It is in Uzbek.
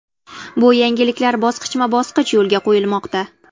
Bu yangiliklar bosqichma-bosqich yo‘lga qo‘yilmoqda.